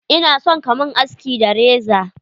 Ina son ka mun aski da reza.